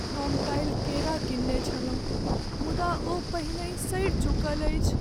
हम काल्हि केरा कीनने छलहुँ मुदा ओ पहिनही सड़ि चुकल अछि।